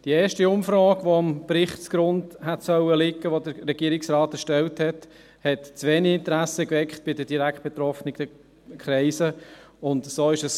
Die erste Umfrage, welche dem vom Regierungsrat erstellten Bericht hätte zugrunde liegen sollen, hat bei den direkt betroffenen Kreisen zu wenig Interesse geweckt.